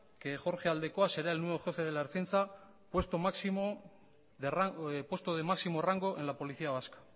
que jorge aldekoa será el nuevo jefe de la ertzaintza puesto de máximo rango en la policía vasca